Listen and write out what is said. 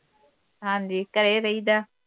ਹਾਂ ਜੀ ਘਰੇ ਰਹੀਦਾ।